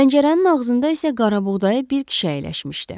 Pəncərənin ağzında isə qarabuğdayı bir kişi əyləşmişdi.